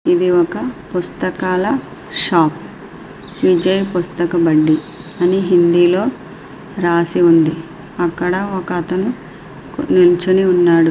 ఇది ఒక పుస్తకాల షాపు . విజయ్ పుస్తకాల బండి అని హిందీలో రాసి ఉంది. ఎనకాతల ఒక అతను నిలుచుని ఉన్నాడు